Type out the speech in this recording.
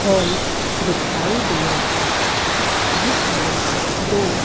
hall दिखाई दे रहा है जिसमें दो--